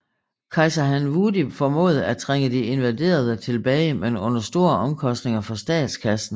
Kejser Han Wudi formåede at trænge de invaderende tilbage men under store omkostninger for statskassen